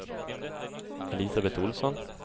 Elisabet Olsson